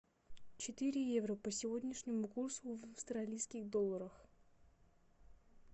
четыре евро по сегодняшнему курсу в австралийских долларах